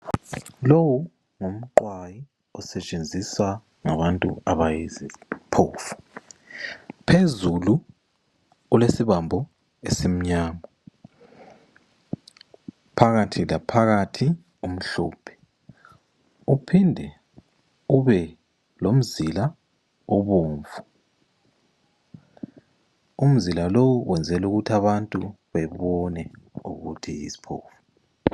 Lowu ngumqwayi osetshenziswa ngabantu abayiziphofu. Phezulu kulesibambo esimnyama, phakathi laphakathi umhlophe, uphinde ube lomzila obomvu, umzila lowu wenzelwa ukuthi abantu babone ukuthi yisiphofu.